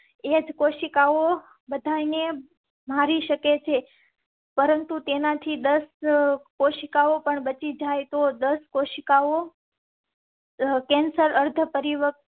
એજ કોશિકાઓ બચાવી ને મારી શકે છે, પરંતુ તેનાથી દસ કોશિકાઓ પણ બચી જાય તો દસ કોશિકાઓ. કેન્સર અર્ધ પરિ